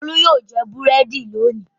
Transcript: Olú yóò jẹ búrẹ́dì lónìí!